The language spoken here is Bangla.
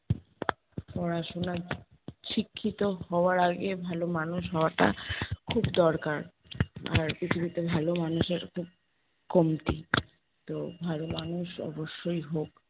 পড়াশোনায় শিক্ষিত হওয়ার আগে ভালো মানুষ হওয়াটা খুব দরকার। আর পৃথিবীতে ভালো মানুষের খুব কমতি। তো ভালো মানুষ অবশ্যই হোক।